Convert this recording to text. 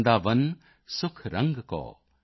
यह आसा धरि चित्त में यह आसा धरि चित्त में